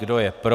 Kdo je pro?